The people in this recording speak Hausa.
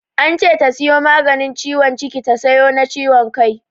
Ance ta sayo maganin ciwon ciki ta sayo na ciwon kai.